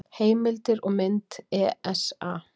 Heimildir og mynd: ESA.